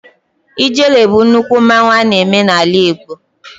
Ijele bụ nnukwu mmanwụ a na-eme n'ala Igbo.